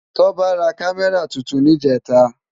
Toba rá Kàmèrá tútún nijètá